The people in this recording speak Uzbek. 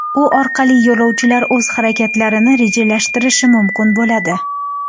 U orqali yo‘lovchilar o‘z harakatlarini rejalashtirishi mumkin bo‘ladi.